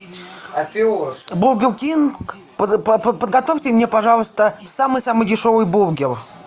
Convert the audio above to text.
бургер кинг подготовьте мне пожалуйста самый самый дешевый бургер